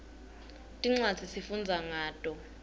tincwadzi sifundza ngato